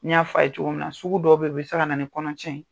N y'a fɔ ye cogo min na , sugu dɔw bɛ yen u bɛ se ka na ni kɔnɔ cɛn ye.